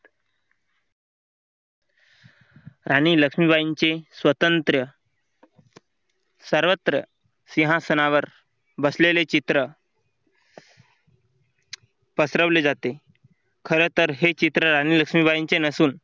राणी लक्ष्मीबाईंचे स्वतंत्र सर्वत्र सिंहासनावर बसलेले चित्र पसरवले जाते खरं तर हे चित्र आणि लक्ष्मीबाईंचे नसून